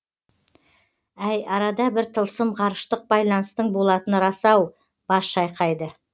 әй арада бір тылсым ғарыштық байланыстың болатыны рас ау бас шайқайды